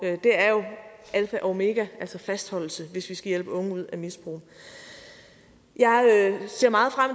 omega altså fastholdelse hvis vi skal hjælpe unge ud af misbrug jeg ser meget frem